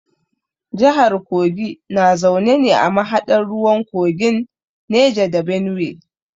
Jahar kogi na zaune ne a mahaɗar ruwan kogin Neja da Benuwe.